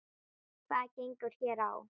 Hvað gengur hér á?